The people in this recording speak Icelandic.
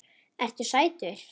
Ertu sætur?